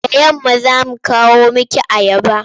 Da yamma za mu kawo miki ayaba.